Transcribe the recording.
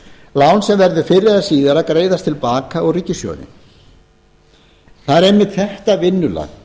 lán sem verður fyrr eða síðar að greiðast til baka úr ríkissjóði það er einmitt þetta vinnulag